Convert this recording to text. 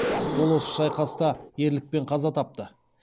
ол осы шайқаста ерлікпен қаза тапты